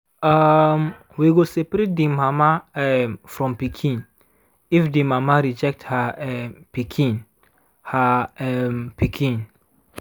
um we go seperate the mama um from pikin if the mama reject her um pikin her um pikin